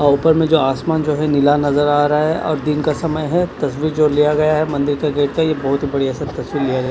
और ऊपर में जो आसमान जो है नीला नज़र आ रहा है और दिन का समय है तस्वीर जो लिया गया है मंदिर का गेट का ये बहुत ही बढ़ियाँ सा तस्वीर लिया गया --